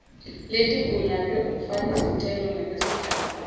letigunyatwe umfakisicelo ngekwesigaba